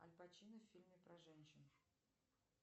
альпачино в фильме про женщин